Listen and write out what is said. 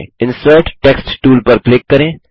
insert text tool पर click करें